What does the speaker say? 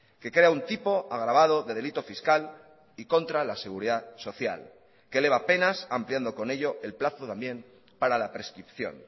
que crea un tipo agravado de delito fiscal y contra la seguridad social que eleva a penas ampliando con ello el plazo también para la prescripción